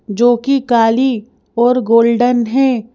जो कि काली और गोल्डन है।